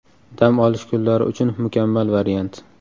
Dam olish kunlari uchun mukammal variant.